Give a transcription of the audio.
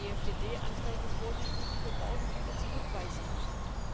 Wir haben EFDD Anträge vorliegen, die wir morgen bitte zurückweisen müssen.